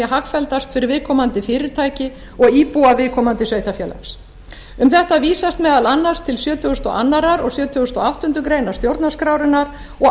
hagfelldast fyrir viðkomandi fyrirtæki og íbúa viðkomandi sveitarfélags um þetta vísast meðal annars til sjötugasta og öðrum og sjötugasta og áttundu grein stjórnarskrárinnar og